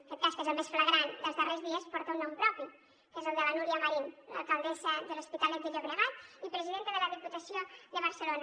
aquest cas que és el més flagrant dels darrers dies porta un nom propi que és el de la núria marín l’alcaldessa de l’hospitalet de llobregat i presidenta de la diputació de barcelona